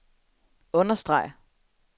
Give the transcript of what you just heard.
understreg